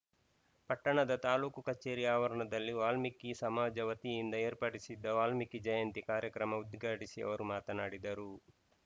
ಪಟ್ಟಣದ ತಾಲೂಕು ಕಚೇರಿ ಆವರಣದಲ್ಲಿ ವಾಲ್ಮೀಕಿ ಸಮಾಜ ವತಿಯಿಂದ ಏರ್ಪಡಿಸಿದ್ದ ವಾಲ್ಮೀಕಿ ಜಯಂತಿ ಕಾರ್ಯಕ್ರಮ ಉದ್ಘಾಟಿಸಿ ಅವರು ಮಾತನಾಡಿದರು